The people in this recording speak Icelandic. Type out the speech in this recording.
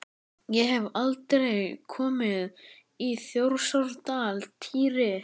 Ég hef aldrei komið í Þjórsárdal, Týri.